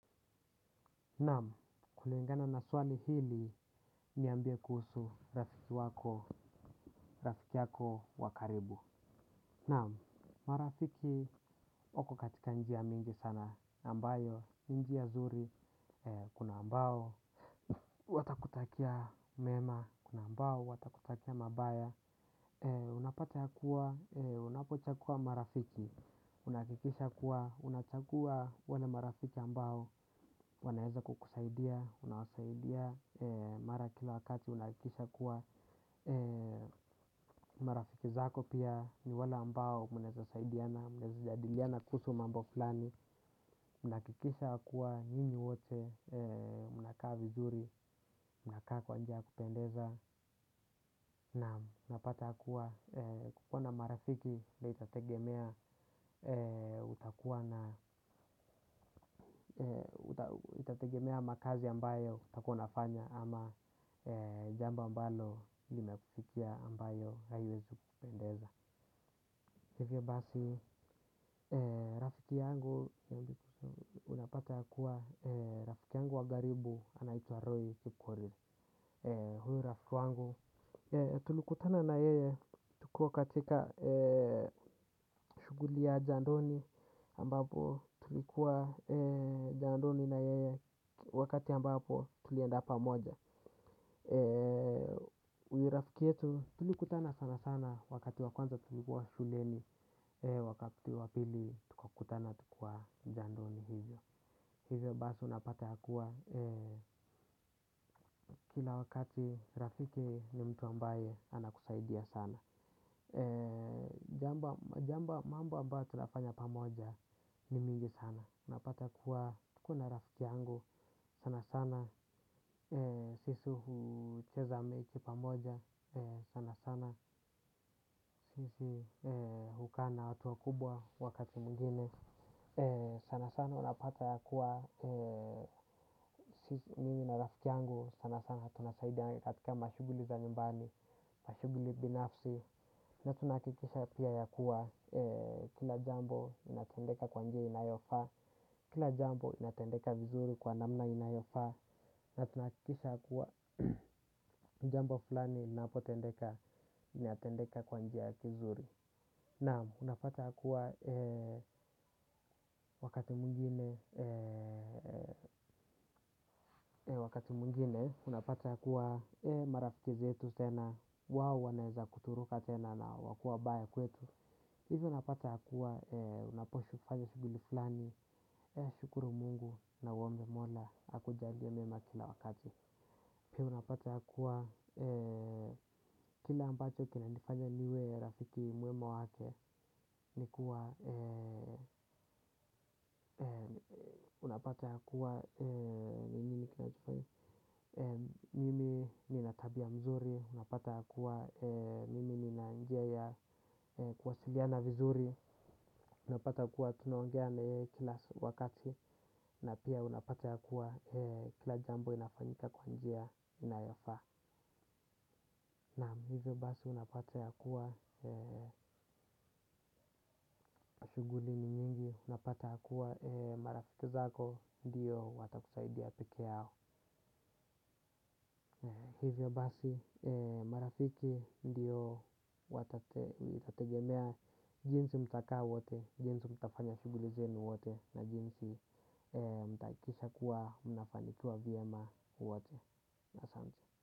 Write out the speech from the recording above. Naam, kulingana na swali hili niambie kuhusu rafiki wako, rafiki yako wa karibu. Naam, marafiki wako katika njia mingi sana ambayo, ni njia nzuri, kuna ambao, wanakutakia mema, kuna ambao watakutakia mabaya. Unapata kuwa unapochagua marafiki, unahakikisha kuwa, unachagua wale marafiki ambao wanaweza kukusaidia, unawasaidia mara kila wakati unahakikisha kuwa marafiki zako pia, ni wale ambao mnaweza saidiana, mnaweza jadiliana kuhusu mambo fulani unahakikisha kuwa, nyinyi wote mnakaa vizuri. Mnakaa kwa njia ya kupendeza na mnapata kuwa kukuwa na marafiki pia itategemea utakuwa na itategemea makazi ambayo utakuwa unafanya ama jambo ambalo limekufikia ambayo haiwezi kukupendeza, hivyo basi rafiki yangu unapata ya kuwa rafiki yangu wa karibu anaitwa Roy Kipkorir. Huyo rafiki wangu tulikutana na yeye. Tukiwa katika shughuli ya jandoni ambapo tulikuwa jandoni na yeye wakati ambapo tulienda pamoja. Urafiki yetu tulikutana sana sana wakati wa kwanza tulikuwa shuleni wakati wa pili tukakutana kwa jandoni hivyo. Hivyo basi unapata ya kuwa kila wakati rafiki ni mtu ambaye anakusaidia sana. Jambo, mambo ambao tunafanya pamoja ni mingi sana. Unapata kuwa kuna rafiki yangu sana sana sisi hucheza mechi pamoja sana sana sisi hukaa na watu wakubwa wakati mwingine. Sana sana unapata kuwa mimi na rafiki yangu sana sana tunasaidia katika mashughuli za nyumbani, mashughuli binafsi. Na tunahakikisha pia ya kuwa kila jambo inatendeka kwa njia inayofaa. Kila jambo inatendeka vizuri kwa namna inayofaa. Na tunahakikisha kuwa jambo fulani inapotendeka, inatendekea kwa njia kizuri. Naam, unapata ya kuwa wakati mwingine, unapata ya kuwa marafiki zetu tena wao wanaweza kuturuka tena na wakuwe wabaya kwetu. Hivyo unapata ya kuwa unapozifanya shughuli fulani, shukuru Mungu na uombe Mola akujalie mema kila wakati. Pia unapata ya kuwa kile ambacho kinanifanya niwe rafiki mwema wake, ni kuwa unapata ya kuwa mimi nina tabia mzuri, unapata ya kuwa mimi nina njia ya kuwasiliana vizuri, unapata kuwa tunaongea na yeye kila wakati na pia unapata ya kuwa kila jambo inafanyika kwa njia inayofaa. Na hivyo basi unapata ya kuwa shughuli ni nyingi unapata ya kuwa marafiki zako ndiyo watakusaidia peke yao. Hivyo basi, marafiki ndiyo watategemea jinsi mtakaa wote, jinsi mtafanya shughuli zenu wote na jinsi mtahakikisha kuwa mnafanikiwa vyema wote. Asante.